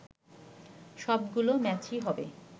সবগুলো ম্যাচই হবে